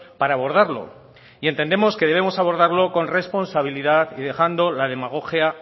para abordarlo y entendemos que debemos abordarlo con responsabilidad y dejando la demagogia